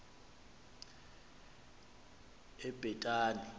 ebhetani